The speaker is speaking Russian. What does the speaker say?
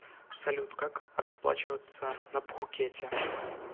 салют как расплачиваться на пхукете